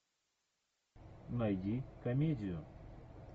найди комедию